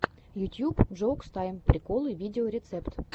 ютьюб джоукс тайм приколы видеорецепт